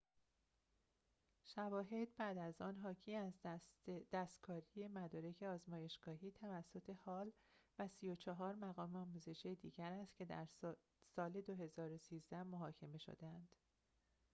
شواهد بعد از آن حاکی از دستکاری مدارک آزمایشی توسط هال و ۳۴ مقام آموزشی دیگر است که در ۲۰۱۳ محاکمه شده‌اند